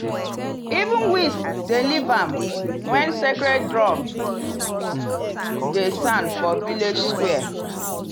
even weeds dem leave am when sacred drum dey sound for village square.